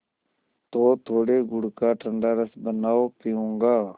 तो थोड़े गुड़ का ठंडा रस बनाओ पीऊँगा